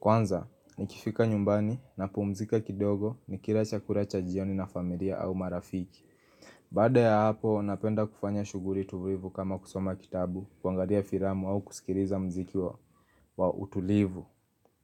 Kwanza, nikifika nyumbani napumzika kidogo nikila chakula cha jioni na familia au marafiki. Baada ya hapo, napenda kufanya shughuli tulivu kama kusoma kitabu, kuangalia filamu au kusikiliza muziki wa utulivu.